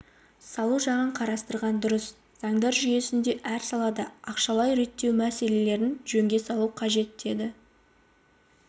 салу жағын қарастырған дұрыс заңдар жүйесінде әр салада ақшалай реттеу мәселелерін жөнге салу қажет деді